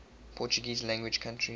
portuguese language countries